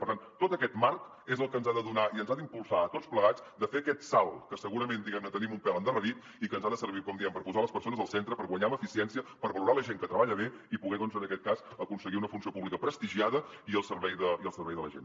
per tant tot aquest marc és el que ens ha de donar i ens ha d’impulsar a tots plegats de fer aquest salt que segurament diguem ne tenim un pèl endarrerit i que ens ha de servir com diem per posar les persones al centre per guanyar en eficiència per valorar la gent que treballa bé i poder doncs en aquest cas aconseguir una funció pública prestigiada i al servei de la gent